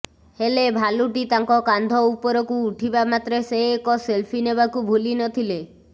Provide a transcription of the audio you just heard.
ହେଲେ ଭାଲୁଟି ତାଙ୍କ କାନ୍ଧ ଉପରକୁ ଉଠିବା ମାତ୍ରେ ସେ ଏକ ସେଲ୍ଫି ନେବାକୁ ଭୁଲିନଥିଲେ